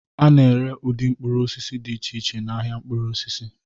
A na-ere ụdị mkpụrụ osisi dị iche iche n'ahịa mkpụrụ osisi